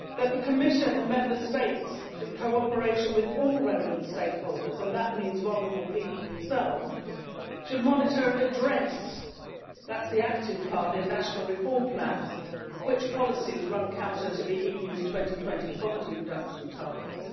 The Commission and Member States, in cooperation with all relevant stakeholders, and that means vulnerable people themselves, should monitor and address that is the active part in national reform plans which policies run counter to the EU's 2020 poverty reduction targets.